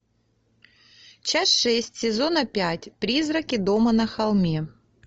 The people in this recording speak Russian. часть шесть сезона пять призраки дома на холме